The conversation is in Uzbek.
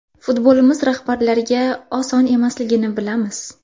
Futbolimiz rahbarlariga oson emasligini bilamiz.